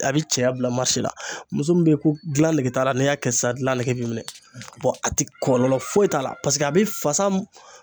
A bi cɛya bila marisi la muso min be yen ko gilan nege t'a la n'i y'a kɛ sisan gialn nege b'i minɛ a ti kɔlɔlɔ foyi t'a la paseke a bi fasa